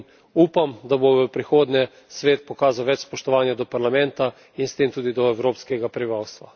In upam, da bo v prihodnje Svet pokazal več spoštovanja do Parlamenta in s tem tudi do evropskega prebivalstva.